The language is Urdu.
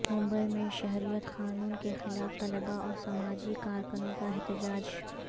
ممبئی میں شہریت قانون کیخلاف طلباء اور سماجی کارکنوں کا احتجاج